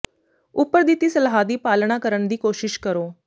ਉਪਰ ਦਿੱਤੀ ਸਲਾਹ ਦੀ ਪਾਲਣਾ ਕਰਨ ਦੀ ਕੋਸ਼ਿਸ਼ ਕਰੋ